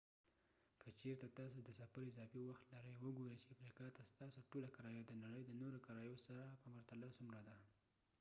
که چیرته تاسې د سفر اضافې وخت لرئ وګورئ چې افریقا ته ستاسې ټوله کرایه د نړۍ د نورو کرایو سره په پرتله څومره ده